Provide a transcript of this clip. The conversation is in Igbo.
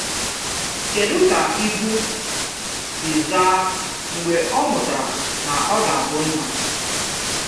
Kedụ ka Ibu si zaa mgbe ọ mụtara na ọ ga-abụ nna?